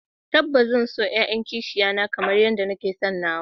Tabbas zan so 'ya'yan kishiya na kamar yadda nake son nawa